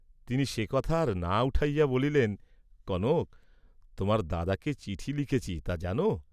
তিনি সে কথা আর না উঠাইয়া বলিলেন কনক, তােমার দাদাকে চিঠি লিখেছি তা জান?